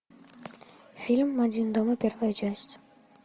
фильм один дома первая часть